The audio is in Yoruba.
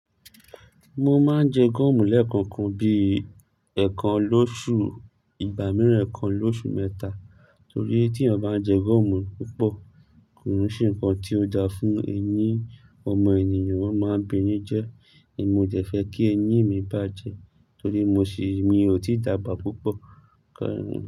Mo máa ń jẹ goọ̀mù lẹ́ẹ̀kọ̀kan bíi ẹ̀ẹ̀kan lóṣù ìgbà mìíràn ẹ̀ẹ̀kan lóṣù mẹ́ta torí tí eeyan bá ń jẹ goọ̀mù púpọ̀ kò oún ṣe ǹkan tí ó dáa fún eyín ọmọ ènìyàn, ó máa ń ba eyín jẹ. Èmi ó dẹ̀ fẹ́ kí eyín mi bàjẹ́ torí mo sì mí ò tí dàgbà púpọ̀ kà ń.